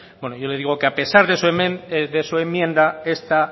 bueno yo le digo que a pesar de su enmienda